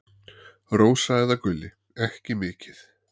Rósa eða Gulli: Ekki mikið.